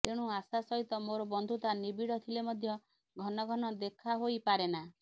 ତେଣୁ ଆଶା ସହିତ ମୋର ବନ୍ଧୁତା ନିବିଡ଼ ଥିଲେ ମଧ୍ୟ ଘନ ଘନ ଦେଖା ହୋଇ ପାରେନା